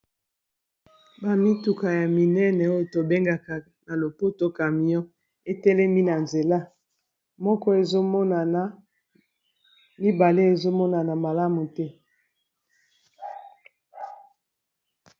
Bamituka ya minene oyo tobengaka na lopoto camion etelemi na nzela, moko ezomonana mibale ezomonana malamu te.